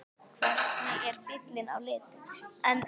Hvernig er bíllinn á litinn?